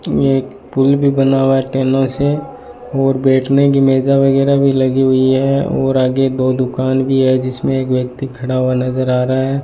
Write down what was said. एक पुल भी बना हुआ है टेनों से और बैठने की मेजा वगैरा भी लगी हुई है और आगे दो दुकान भी है जिसमें एक व्यक्ति खड़ा हुआ नजर आ रहा है।